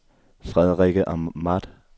Frederikke Ahmad